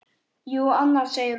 Jú, annars, segir hún.